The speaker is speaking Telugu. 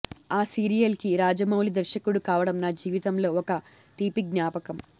ఆ సీరియల్ కి రాజమౌళి దర్శకుడు కావడం నా జీవితంలో ఒక తీపిజ్ఞాపకం